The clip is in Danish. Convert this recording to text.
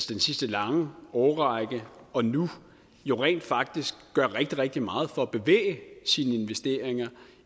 den sidste lange årrække og nu jo rent faktisk gør rigtig rigtig meget for at bevæge sine investeringer